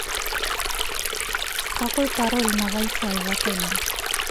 какой пароль на вайфай в отеле